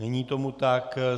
Není tomu tak.